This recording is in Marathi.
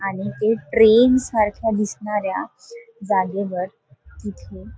आणि हे ट्रेन सारख्या दिसणाऱ्या जागेवर तिथे--